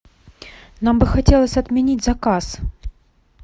нам бы хотелось отменить заказ